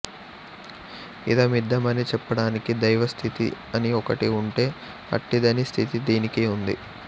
ఇదమిద్ధమని చెప్పడానికి దైవస్థితి అని ఒకటి ఉంటే అట్టి దాని స్థితి దీనికీ ఉంది